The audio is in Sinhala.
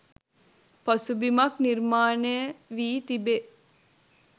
පසුබිමක් නිර්මාණය වී තිබේ